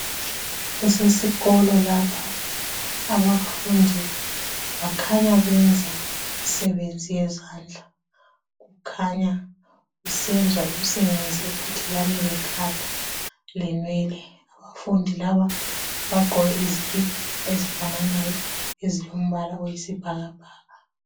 Kusesikolo lapha, abafundi bakhanya benza imsebenzi yezandla, kukhanya kusenzwa imsebenzi ephathelane lekhanda lenwele. Abafundi laba bagqoke izikipa ezifananayo ezilombala oyisibhakabhaka.